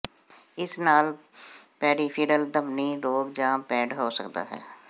ਇਸ ਨਾਲ ਪੈਰੀਫਿਰਲ ਧਮਨੀ ਰੋਗ ਜਾਂ ਪੈਡ ਹੋ ਸਕਦਾ ਹੈ